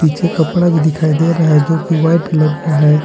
पीछे कपड़ा भी दिखाई दे रहा है जो वाइट कलर का है।